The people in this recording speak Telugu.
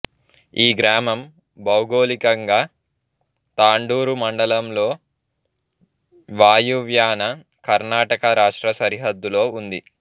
ఈ గ్రామం భౌగోళికంగా తాండూరు మండలంలో వాయువ్యాన కర్ణాటక రాష్ట్ర సరిహద్దులో ఉంది